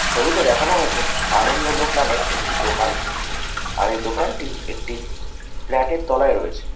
ছবিতে দেখানো হয়েছে আনন্দলোক নামের একটি দোকানকে আর এই দোকানটি একটি ফ্ল্যাট এর তলায় রয়েছে।